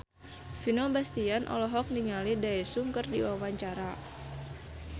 Vino Bastian olohok ningali Daesung keur diwawancara